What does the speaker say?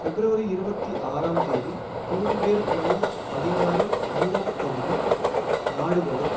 பிப்ரவரி இருபத்தி ஆறாம் தேதி ப்ளூம்பேர்க் நியூஸ் பதினாறு யூரோ பகுதி நாடுகளும்